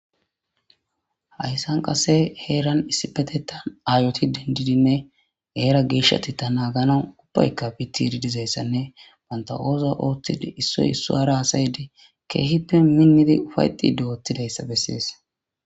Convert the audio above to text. Haysan qasse heeran issipetethan ayoti dendidinne heera geshshateta nagganawu ubbayka fitidi dizaysanne banta oththo oththidi issoy issora hasaidi kehippe minidi uffaetidi asay oththizaysa beses.